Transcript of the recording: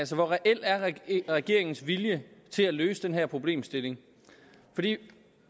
så hvor reel er regeringens vilje til at løse den her problemstilling